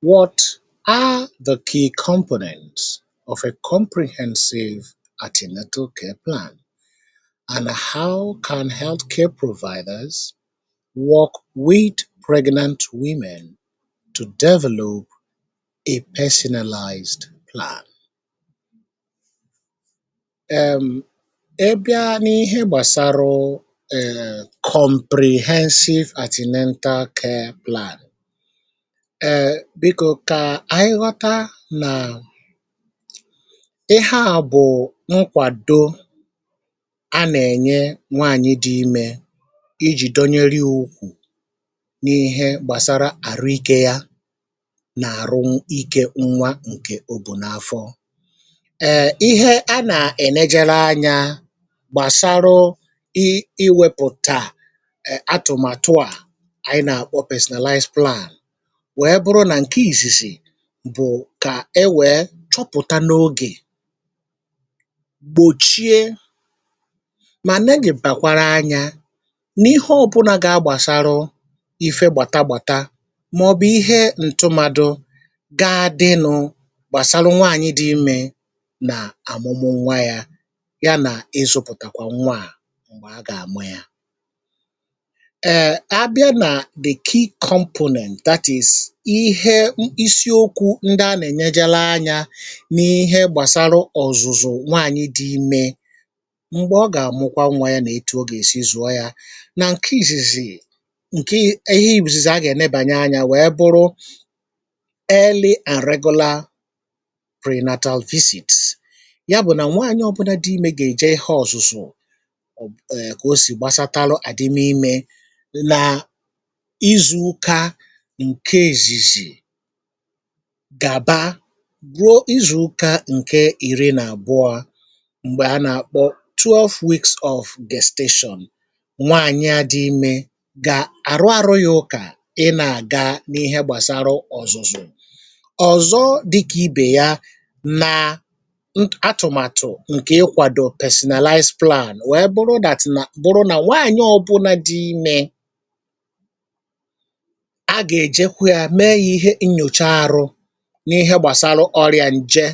What are the key components of a comprehensive antenatal care plan and how can healthcare providers work with pregnant women to develop a personalised plan? Um ị bịa n'ihe gbasarụụ um comprehensive antenatal care plan, um biko kaị ghọta na ihe a bụ nkwàdo a nà-ènye nwaànyị̀ dị imė i jì donyeri ukwù n’ihe gbàsara àrụ ikė ya nà àrụ ikė nwa ǹkè obù n’afọ. Um ihe a nà-ènejere anya gbàsarụ i i wepùta um atụmàtụ à ànyị nà-àkpọ personalize plan wee bụrụ na nke izizi bụ̀ kà e wèe chọpụ̀ta n’ogè, gbòchie, mà negị̀bàkwara anya n’ihe ọbụnȧ gà-agbàsara ìfe gbàta gbàta màọ̀bụ̀ ihe ǹtụmadụ ga dịnụ̇ gbàsara nwaànyị dị imė nà àmụ̀mụ nwa yȧ ya nà ịzụ̇pụ̀tàkwà nwa à m̀gbè a gà-àmụ ya. Umm a bịa na the key components, that is ihe isiokwu̇ ndị a nà-ènejere anyȧ n’ihe gbàsaru ọ̀zụ̀zụ̀ nwaànyị̇ dị imė m̀gbè ọ gà-àmụkwa nwà yȧ nà-etu ogè èsi zụ̀ọ yȧ nà ǹke ìzìzì ǹke ihe i̇zìzì a gà-ènebànye anyȧ wèe bụrụ: early and regular prenatal visits. Ya bụ̀ nà nwaànyị ọ̀bụna dị imė gà-èje ihe ọ̀zụ̀zụ̀ kà o sì gbasataru àdịm imė nà izu ụka nke izizi gàba ruo izù ụkà ǹke ìri nà àbụọ mgbe a nà àkpọ twelve weeks of gestation. Nwaànyị a dị imė gà àrụ àrụ ya ụkà ị nà àga ihe gbàsara ọzụzụ. Ọzọ dịkà ibè ya nà atụ̀màtụ̀ ǹkè ị kwàdọ personalize plan wee bụrụ that na bụrụ na nwaànyị ọ bụna dị imė, a ga-ejekwu ya mee ya ihe nnyocha ahụ n’ihe gbàsarụ ọrịà ǹje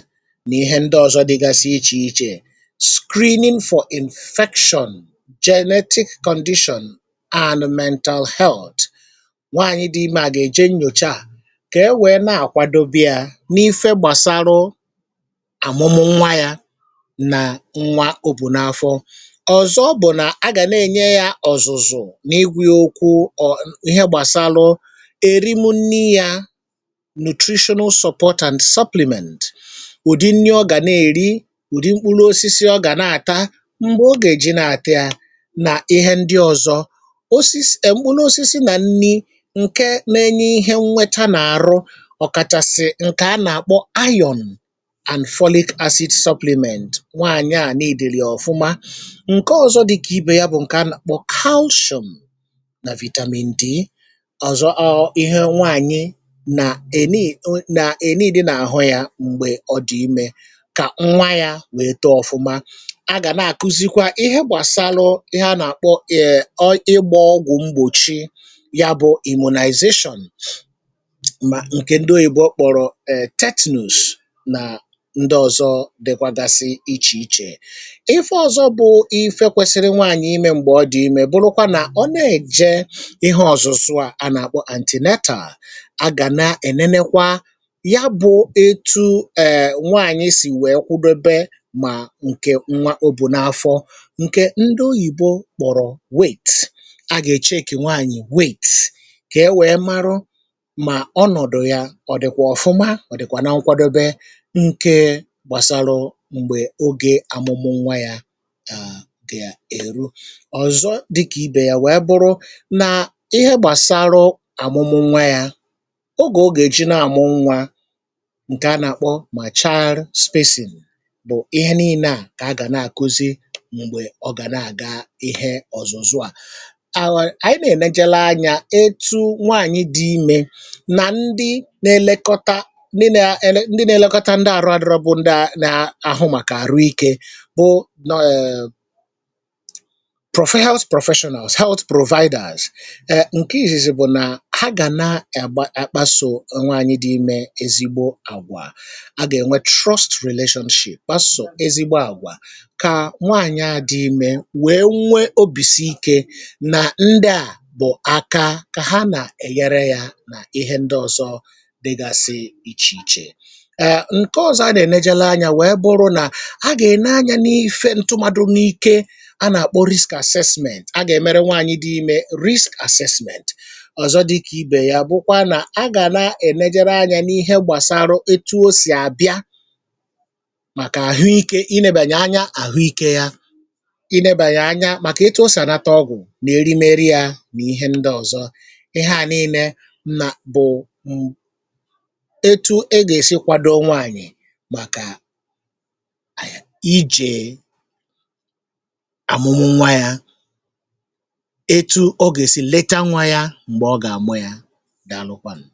nà ihe ndị ọ̀zọ dịgasị ichè ichè; screening for infection, genetic condition and mental health. Nwaanyị dị imė à gà-èje nnyòcha à kà e wèe na-àkwadobe yȧ n’ife gbàsarụ àmụmụ nwa yȧ nà nwa òbùnà afọ. Ọzọ bụ̀ nà a gà na-ènye yȧ òzụzụ n’ịgwa ya okwu ọ ihe gbàsarụ erimunri ya nutritional support and supplement; udị nri ọ gà na-èri, udị mkpụrụ osisi ọ gà na-àta, m̀gbè ọ gà-èji na-àt'ya nà ihe ndị ọ̀zọ. Osis um mkpụrụ ọsịsị nà nri ǹke na-enye ihe nnweta nà-àrụ, ọ̀ kàchàsị̀ ǹkè a nà-àkpọ iron and folic acid supplement, nwaànyị à neediri ya ọ̀fụma. Nkè ọ̀zọ dịkà ibe ya bụ̀ ǹkè a nà-àkpọ calcium nà vitamin D. Ọzọ ọọ ihe nwaànyị na e nii na e needi n'ahụ ya mgbe ọ dị̀ imė, kà nwa ya wèe too ọ̀fụma. A gà na-àkụzikwa ihe gbàsaarụ ihe a nà-àkpọ um ọ ịgbọ ọgwụ̀ mgbòchi, ya bụ̇ immunization, mà ǹkè ndị oyìbo kpọ̀rọ̀ tetanus nà ndị ọ̀zọ dịkwagasị ichè ichè. Ihe ọ̀zọ bụ̀ ihe kwesiri nwanyì imė m̀gbè ọ dị̀ imė bụrụkwa nà ọ nà-èje ihe ọ̀zụ̀zụ à a nà-àkpọ antenatal, a ga na-enenekwa ya bụ etu̇ um nwaanyị̀ sì wee kwudobe mà ǹkè nwa o bụ n’afọ ǹkè ndị oyìbo kpọ̀rọ̀ weight. A gà-ècheekị nwaanyị̀ weight kà e wee marụ mà ọnọ̀dụ̀ ya ọ dịkwà ọ̀fụma ọ̀ dịkwà na nkwadobe nke gbàsarụ̇ m̀gbè ogè amụmụ nwa yȧ ga ga èru. Ọzọ dịkà ibè ya wee bụrụ nà ihe gbàsarụ̇ amụmụ nwa yȧ, oge ọ ga-eji na-amụ nwa, ǹkè a nà-àkpọ ma child spacing bụ̀ ihe nille à kà a gà na-àkuzi m̀gbè ọ gà na-àga ihe ọ̀zụzụ̀ a. Um ànyị na-ènejère anyȧ etụ nwaànyị̇ dị imė nà ndị nȧ-elekọta ndị na-ele ndị na-elekọta ndị àrụ adịrọ bụ̇ nda na-àhụ màkà àrụ ikė bụ um prof health professionals health providers. Um nke izizi bụ na ha ga na-akpaso nwaanyị dị ime ezigbo agwa, a ga-enwe trust relationship, kpaso ezigbo agwa ka nwaanyị a dị ime wee nwee obi sii ike na ndị a bụ aka ka ha na-enyere ya na ihe ndị ọzọ dịgasị iche iche. Um nke ọzọ anyị na-enegara anya wèe bụrụ nà ha gà-ène anyȧ n’ife ntụmadụ n’ike a nà-àkpọ risk àssessment a gà-èmere nwaànyị̀ dị imė, risk àssessment. Ọzọ dịka ibè ya bụkwa nà a gà na-ènejere anya n'ihe gbasarụ etu o sì àbịa màkà àhụikė inėbànye anya n'àhụikė yȧ ịnėbànye anya, màkà etu o sì ànata ọgwụ̀, nà erimere yȧ, nà ihe ndị ọ̀zọ. Ihe à nille bụ̀ ụ̀ etu e gà-èsi kwado nwaànyị̀ màkà aị ijè àmụmụ nwa yȧ, etu ọ gà-èsi leta nwa yȧ m̀gbè ọ gà-àmụ yȧ. Dàlụkwànụ̀